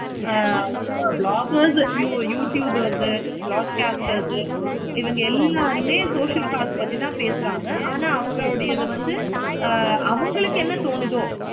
ஆஹ் bloggers, youtubers, blogcasters இவங்க எல்லாருமே social cast பத்தி தான் பேசுறாங்க. ஆனா அவர்களுடையது வந்து அவங்களுக்கு என்ன தோணுதோ